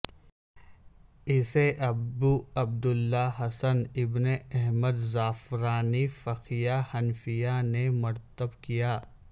اسے ابو عبد اللہ حسن ابن احمد زعفرانی فقیہ حنفیہ نے مرتب کیا